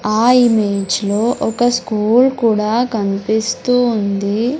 ఆ ఇమేజ్ లో ఒక స్కూల్ కూడా కన్పిస్తూ ఉంది.